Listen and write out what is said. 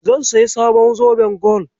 Zan sayi sabon zoben gwal.